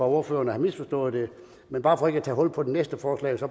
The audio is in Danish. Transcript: ordføreren har misforstået det men bare for ikke at tage hul på det næste forslag